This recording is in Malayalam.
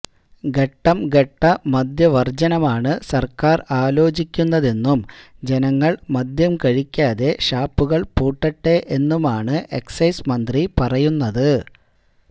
ഘട്ടം ഘട്ട മദ്യവര്ജനമാണ് സര്ക്കാര് ആലോചിക്കുന്നതെന്നും ജനങ്ങള് മദ്യം കഴിക്കാതെ ഷാപ്പുകള് പൂട്ടട്ടെ എന്നുമാണ് എക്സൈസ് മന്ത്രി പറയുന്നത്